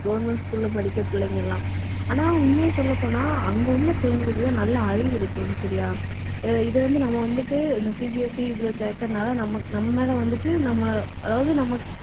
government school ல படிக்கிற பிள்ளைங்க எல்லாம். ஆனா, உண்மையை சொல்லப் போனா அங்கே உள்ள பிள்ளைங்களுக்குத்தான் நல்ல அறிவு இருக்கும். சரியா இது வந்து நம்ம வந்துட்டு இந்த CBSE இதுல சேர்க்கிறதுனால நமக்~ நம்ம மேல வந்துட்டு நம்ம அதாவது நமக்~